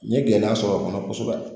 N ye gɛlɛya sɔrɔ o kɔnɔ kosɛbɛ